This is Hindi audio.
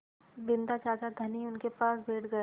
बिन्दा चाचा धनी उनके पास बैठ गया